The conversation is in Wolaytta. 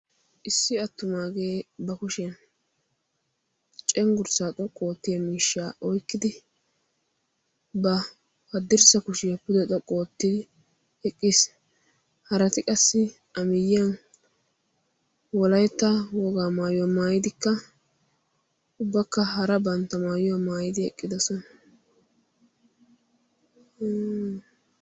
issi attumaagee ba kushiyan cenggurssaa xoqqu oottiya miishshaa oikkidi ba haddirssa kushiyaa pude xoqqu oottidi eqqiis harati qassi a miyyiyan wolaitta wogaa maayuyaa maayidikka ubbakka hara bantta maayuyaa maayidi eqqidasona